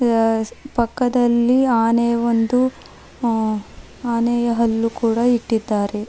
ಅದಸ್ ಪಕ್ಕದಲಿ ಆನೆಯ ಒಂದು ಅ ಆನೆಯ ಹಲ್ಲು ಕೂಡ ಇಟ್ಟಿದ್ದಾರೆ.